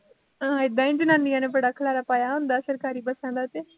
ਹਾਂ ਏਦਾਂ ਈ ਜਨਾਨੀਆ ਨੇ ਬੜਾ ਖਲਾਰਾਂ ਪਾਇਆ ਹੁੰਦਾ ਸਰਕਾਰੀ ਬੱਸਾਂ ਦਾ ਤੇ